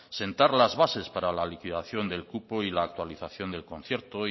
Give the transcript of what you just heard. sentar las bases para la liquidación del cupo y la actualización del concierto